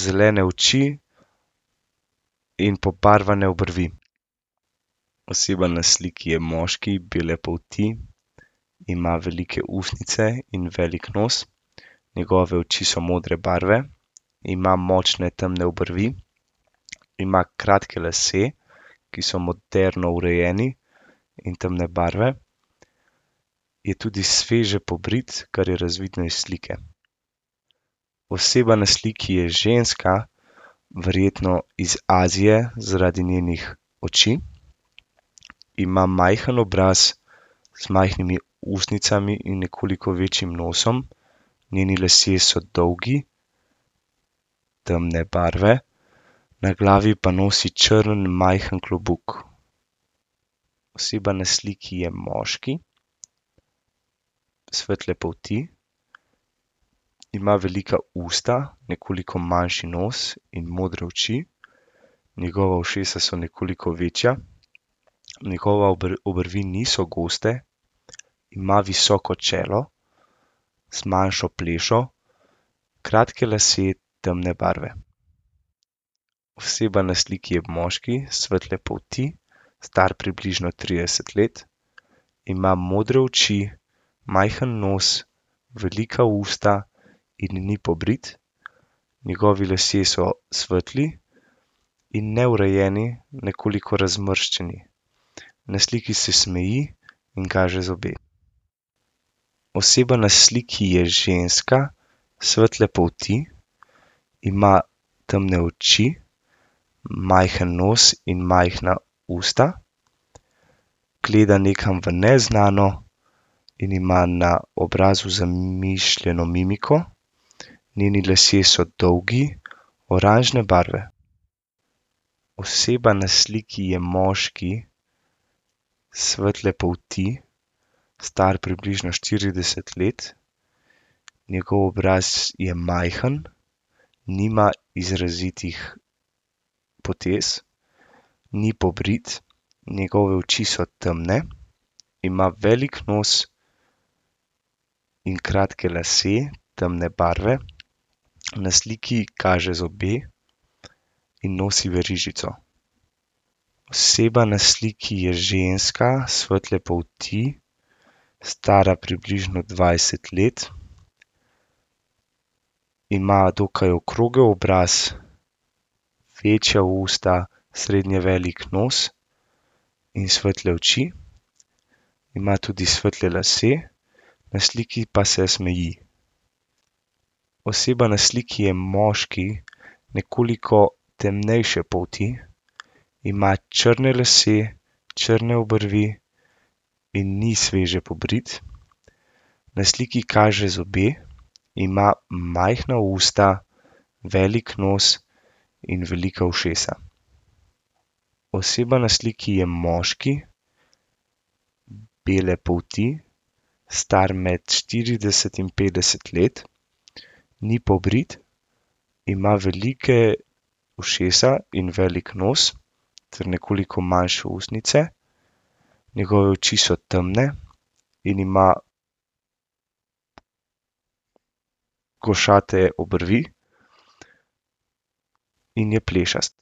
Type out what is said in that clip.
zelene oči in pobarvane obrvi. Oseba na sliki je moški, bele polti. Ima velike ustnice in velik nos. Njegove oči so modre barve. Ima močne temne obrvi, ima kratke lase, ki so moderno urejeni in temne barve. Je tudi sveže pobrit, kar je razvidno iz slike. Oseba na sliki je ženska, verjetno iz Azije zaradi njenih oči. Ima majhno obraz z majhnimi ustnicami in nekoliko večjim nosom. Njeni lasje so dolgi, temne barve, na glavi pa nosi črn majhen klobuk. Oseba na sliki je moški, svetle polti. Ima velika usta, nekoliko manjši nos in modre oči. Njegova ušesa so nekoliko večja. Njegova obrvi niso goste. Ima visoko čelo z manjšo plešo, kratke lase temne barve. Oseba na sliki je moški, svetle polti, star približno trideset let. Ima modre oči, majhen nos, velika usta in ni pobrit. Njegovi lasje so svetli in neurejeni. Nekoliko razmršeni. Na sliki se smeji in kaže zobe. Oseba na sliki je ženska, svetle polti, ima temne oči, majhen nos in majhna usta. Gleda nekam v neznano in ima na obrazu zamišljeno mimiko. Njeni lasje so dolgi, oranžne barve. Oseba na sliki je moški, svetle polti, star približno štirideset let. Njegov obraz je majhen, nima izrazitih potez. Ni pobrit, njegove oči so temne, ima velik nos in kratke lase, temne barve. Na sliki kaže zobe in nosi verižico. Oseba na sliki je ženska svetle polti. Stara približno dvajset let. Ima dokaj okrogel obraz, večja usta, srednje velik nos in svetle oči. Ima tudi svetle lase. Na sliki pa se smeji. Oseba na sliki je moški, nekoliko temnejše polti. Ima črne lase, črne obrvi in ni sveže pobrit. Na sliki kaže zobe. Ima majhna usta, velik nos in velika ušesa. Oseba na sliki je moški, bele polti. Star med štirideset in petdeset let. Ni pobrit, ima velike ušesa in velik nos ter nekoliko manjše ustnice. Njegove oči so temne in ima košate obrvi. In je plešast.